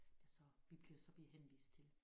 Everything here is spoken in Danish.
Der så vi bliver så bliver henvist til